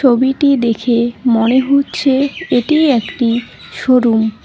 ছবিটি দেখে মনে হচ্ছে এটি একটি শোরুম ।